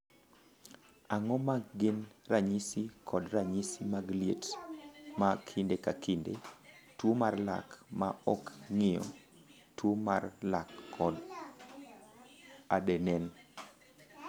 "Ang’o ma gin ranyisi kod ranyisi mag liet ma kinde ka kinde, tuo mar lak ma ok ng’iyo, tuo mar lak kod adenen?"